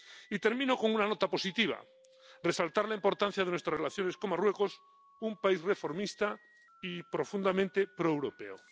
Y termino con una nota positiva resaltar la importancia de nuestras relaciones con Marruecos, un país reformista y profundamente proeuropeo.